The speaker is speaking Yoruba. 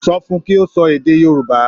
Sọ fun kí ó sọ èdè Yorùbá.